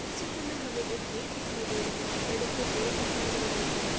इस चित्र में हमें एक गेट दिखाई दे रही है बड़े से पेड़ दिखाई दे रहे है।